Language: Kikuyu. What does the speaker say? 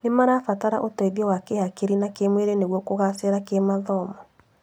Nĩ marabatara ũteithio wa kĩhakiri na kĩmwĩrĩ nĩguo kũgacira kĩmathomo.